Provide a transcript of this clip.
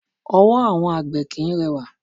Ọwọ́ àwọn àgbè kìí rẹwà.